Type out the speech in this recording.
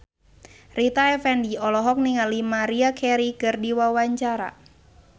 Rita Effendy olohok ningali Maria Carey keur diwawancara